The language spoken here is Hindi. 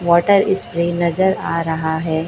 वॉटर इस्प्रे नजर आ रहा है।